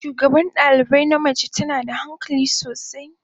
Shugaban dalibai na mace tana da hankali sosai.